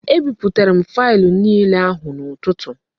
E biputara m faịlụ niile ahụ n'ụtụtụ